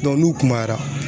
n'u kumayara